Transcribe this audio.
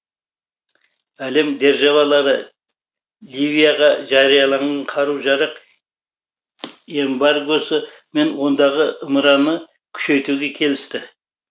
әлем державалары ливияға жарияланған қару жарақ эмбаргосы мен ондағы ымыраны күшейтуге келісті